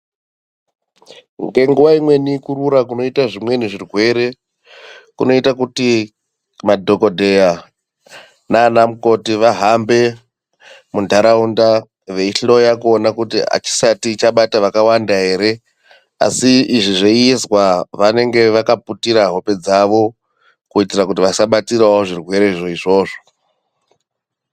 Ngekuwa imweni kurura kunoita zvimweni zvirwere kunoita kuti may nanamukoti vahambe muntaraunda veihloya kuona kuti achisati chabata vakawanda ere asi izvi zveiizwa vanenge vakaputira hope dzavo kuitira kuti vasavatirawo zvirwere zvoizvozvo.